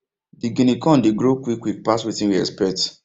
the guinea corn dey grow quick quick pass wetin we expect